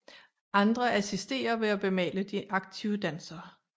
Andre assisterer ved at bemale de aktive dansere